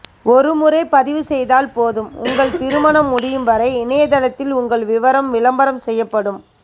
ஒரு முறை பதிவு செய்தால் போதும் உங்கள் திருமணம் முடியும் வரை இணையதளத்தில் உங்கள் விவரம் விளம்பரம் செய்யபடும்